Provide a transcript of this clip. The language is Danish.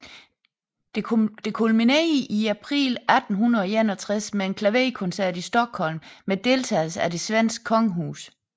Dette kulminerede i april 1861 med en klaverkoncert i Stockholm med deltagelse af det svenske kongehus